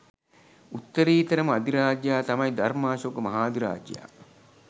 උත්තරීතරම අධිරාජයා තමයි ධර්මාශෝක මහාධිරාජයා.